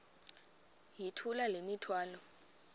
yithula le mithwalo